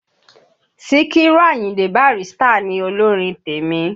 Síkírù Àyìndé Bàrístà ni olórin tèmi.